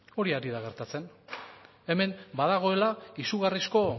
hori ari da gertatzen hemen badagoela izugarrizko